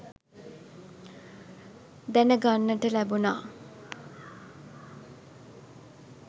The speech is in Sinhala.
දැන ගන්නට ලැබුණා.